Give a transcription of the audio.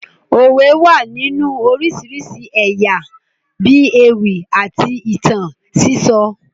Òwe wà nínú oríṣiríṣi ẹ̀yà bíi ewì àti ìtàn sísọ